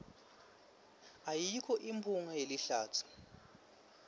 ayikho imphunga yelihlatsi